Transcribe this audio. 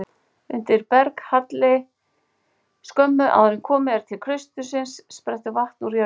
Undir berghalli skömmu áður en komið er til klaustursins sprettur vatn úr jörðu.